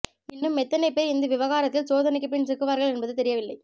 இன்னும் எத்தனை பேர் இந்த விவகாரத்தில் சோதனைக்கு பின் சிக்குவார்கள் என்பது தெரியவில்லை